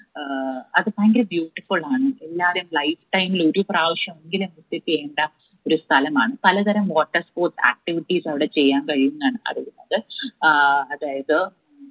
ഏർ അത് ഭയങ്കര beautiful ആണ് എല്ലാരും lifetime ഇൽ ഒരു പ്രാവശ്യം എങ്കിലും visit ചെയ്യേണ്ട ഒരു സ്ഥലമാണ് പലതരം water sport activities അവിടെ ചെയ്യാൻ കഴിയുമെന്നാണ് പറയുന്നത് ആഹ് അതായത്